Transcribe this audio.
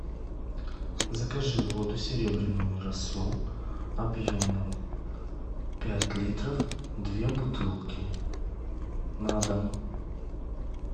закажи воду серебряную росу объемом пять литров две бутылки на дом